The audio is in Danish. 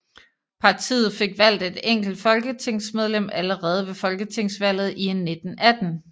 Partiet fik valgt et enkelt folketingsmedlem allerede ved folketingsvalget i 1918